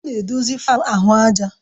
Ọ na-edozi fáan ahụ àjà